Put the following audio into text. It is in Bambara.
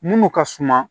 Munnu ka suma